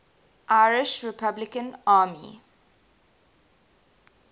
irish republican army